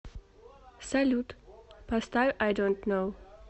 салют поставь ай донт ноу